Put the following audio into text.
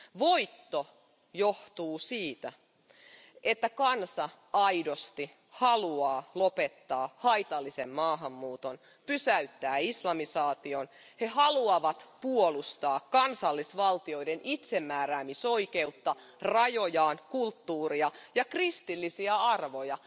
Voitto johtuu siitä, että kansa aidosti haluaa lopettaa haitallisen maahanmuuton, pysäyttää islamisaation, he haluavat puolustaa kansallisvaltioiden itsemääräämisoikeutta, rajojaan, kulttuuria ja kristillisiä arvoja.